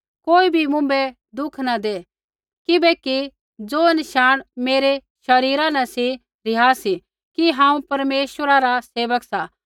कोई भी मुँभै दुःख न दै किबैकि ज़ो नशाण मेरै शरीरा न सी रिहा सी कि हांऊँ परमेश्वरा रा सेवक सा